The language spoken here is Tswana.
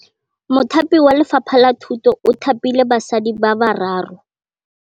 Mothapi wa Lefapha la Thutô o thapile basadi ba ba raro.